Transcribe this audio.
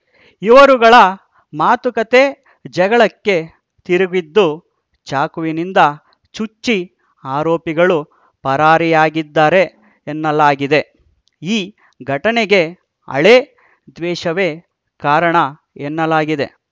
ಇವರುಗಳ ಮಾತುಕತೆ ಜಗಳಕ್ಕೆ ತಿರುಗಿದ್ದು ಚಾಕುವಿನಿಂದ ಚುಚ್ಚಿ ಆರೋಪಿಗಳು ಪರಾರಿಯಾಗಿದ್ದಾರೆನ್ನಲಾಗಿದೆ ಈ ಘಟನೆಗೆ ಹಳೇ ದ್ವೇಷವೇ ಕಾರಣ ಎನ್ನಲಾಗಿದೆ